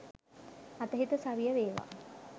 අතහිත සවිය වේවා